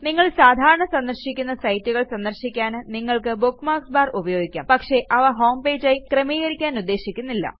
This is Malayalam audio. നിങ്ങൾ സാധാരണ സന്ദർശിക്കുന്ന സൈറ്റുകൾ സന്ദർശിക്കാൻ നിങ്ങൾക്ക് ബുക്ക്മാർക്സ് ബാർ ഉപയോഗിക്കാം പക്ഷെ അവ ഹോംപേജ് ആയി ക്രമീകരിക്കാനുദ്ദേശിക്കുന്നില്ല